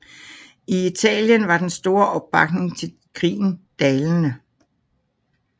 I Italien var den store opbakning til krigen dalende